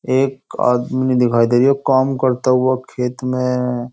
एक आदमी दिखाई दे रही काम करता हुआ खेत में।